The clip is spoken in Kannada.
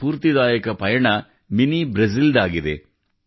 ಈ ಸ್ಫೂರ್ತಿದಾಯಕ ಪಯಣ ಮಿನಿ ಬ್ರೆಜಿಲ್ ದಾಗಿದೆ